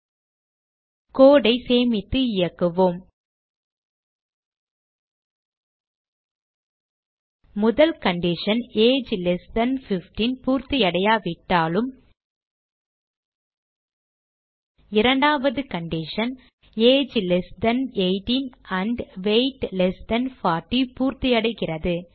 code ஐ சேமித்து இயக்குவோம் முதல் கண்டிஷன் ஏஜ் லெஸ் தன் 15 பூர்த்தியடையாவிட்டாலும் இரண்டாவது condition age less than 18 and weight less than 40 பூர்த்தியடைகிறது